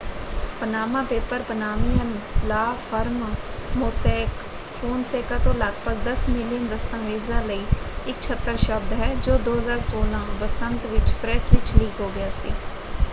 "Panama paper Panamanian law firm Mossack Fonseca ਤੋਂ ਲਗਭਗ ਦਸ ਮਿਲੀਅਨ ਦਸਤਾਵੇਜ਼ਾਂ ਲਈ ਇੱਕ ਛਤਰ ਸ਼ਬਦ ਹੈ ਜੋ 2016 ਬਸੰਤ ਵਿੱਚ ਪ੍ਰੈੱਸ ਵਿੱਚ ਲੀਕ ਹੋ ਗਿਆ ਸੀ।